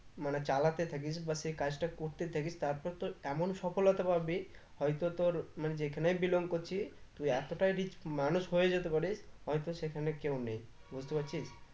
মানে চালাতে থাকিস বা সে কাজটা করতে থাকিস তারপর তোর এমন সফলতা পাবি হয়তো তোর মানে যেখানেই belong করছি তুই এতটাই rich মানুষ হয়ে যেতে পারিস হয়তো সেখানে কেও নেই বুঝতে পারছিস